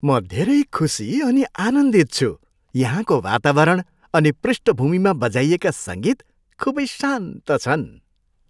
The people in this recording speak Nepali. म धेरै खुसी अनि आनन्दित छु, यहाँको वातावरण अनि पृष्ठभूमिमा बजाइएका सङ्गीत खुबै शान्त छन्!